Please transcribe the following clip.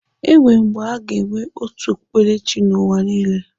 Enwere mgbe aga enwe otu okpukperechi n'ụwa niile?